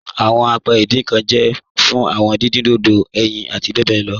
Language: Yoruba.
Awọn àpẹ̀ ìdìn nkan jẹ́ fún awọn dídìn dodò, ẹ̀yin àti bẹ bẹ lọ